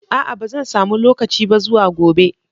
A'a ba zan samu lokaci ba zuwa gobe.